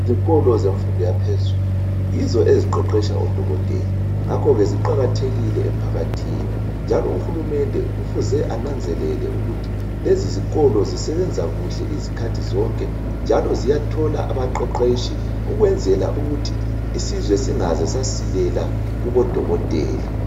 Izikolo zemfundo yaphezulu yizo eziqeqetsha odokotela ngakho ke ziqakathekile emphakathini njalo uHulumende kufuze ananzelele ukuthi lezi zikolo zisebenza kuhle izikhathi zonke njalo ziyathola abaqeqetshi ukwenzela ukuthi isizwe singaze sasilela kubo dokotela.